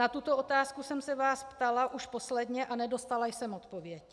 Na tuto otázku jsem se vás ptala už posledně a nedostala jsem odpověď.